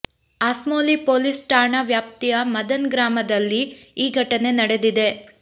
Asmoli police ಠಾಣಾ ವ್ಯಾಪ್ತಿಯ ಮದನ್ ಗ್ರಾಮದಲ್ಲಿ ಈ ಘಟನೆ ನಡೆದಿದೆ